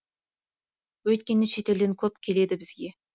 өйткені шетелден көп келеді бізге